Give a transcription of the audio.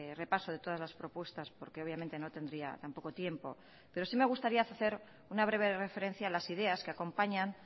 repaso de todas las propuestas porque obviamente no tendría tampoco tiempo pero sí me gustaría hacer una breve referencia a las ideas que acompañan